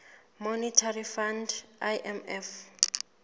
monetary fund imf